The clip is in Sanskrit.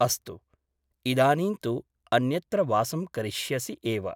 अस्तु , इदानीं तु अन्यत्र वासं करिष्यसि एव ।